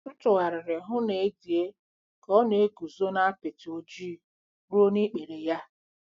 M tụgharịrị hụ na Edie ka ọ na-eguzo na apịtị ojii ruo n'ikpere ya.